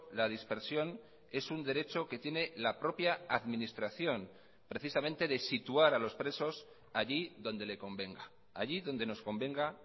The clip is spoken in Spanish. la dispersión es un derecho que tiene la propia administración precisamente de situar a los presos allí donde le convenga allí donde nos convenga